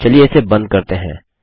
चलिए इसे बंद करते हैं